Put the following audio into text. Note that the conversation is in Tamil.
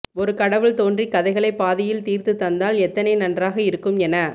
ஒரு கடவுள் தோன்றிக் கதைகளைப் பாதியில் தீர்த்துத் தந்தால் எத்தனை நன்றாக இருக்கும் என